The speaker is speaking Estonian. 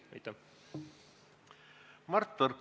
Mart Võrklaev, palun!